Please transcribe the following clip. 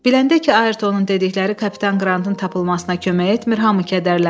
Biləndə ki, Ayrtonun dedikləri kapitan Qrantın tapılmasına kömək etmir, hamı kədərləndi.